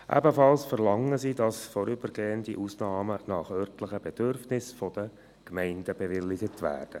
Ebenfalls verlangen sie, dass vorübergehende Ausnahmen nach örtlichen Bedürfnissen von den Gemeinden bewilligt werden.